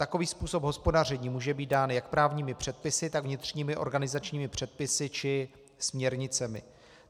Takový způsob hospodaření může být dán jak právními předpisy, tak vnitřními organizačními předpisy či směrnicemi.